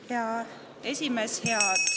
Hea esimees!